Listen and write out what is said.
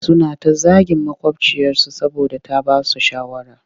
Suna ta zagin maƙwabciyarsu saboda ta ba su shawara